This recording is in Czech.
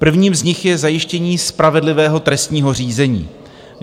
Prvním z nich je zajištění spravedlivého trestního řízení.